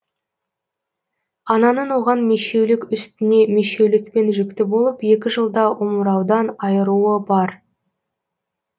ананың оған мешеулік үстіне мешеулікпен жүкті болып екі жылда омыраудан айыруы бар